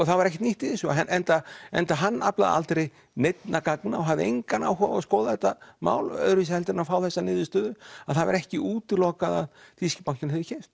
það var ekkert nýtt í þessu enda enda hann aflaði aldrei neinna gagna og hafði engan áhuga á að skoða þetta mál öðruvísi heldur en að fá þessa niðurstöðu að það var ekki útilokað að þýski bankinn hefði keypt